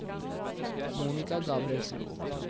Monica Gabrielsen